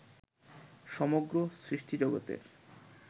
সমগ্র সৃষ্টিজগতের